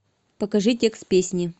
покажи текст песни